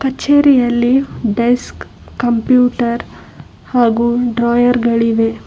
ಕಚೇರಿಯಲ್ಲಿ desk computer ಹಾಗು drawer ಗಳಿವೆ.